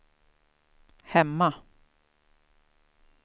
hemma